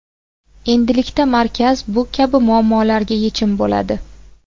Endilikda markaz bu kabi muammolarga yechim bo‘ladi.